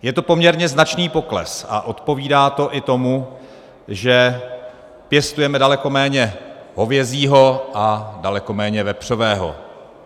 Je to poměrně značný pokles a odpovídá to i tomu, že pěstujeme daleko méně hovězího a daleko méně vepřového.